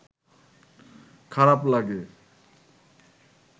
খারাপ লাগে